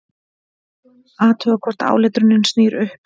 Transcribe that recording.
Athuga hvort áletrunin snýr upp.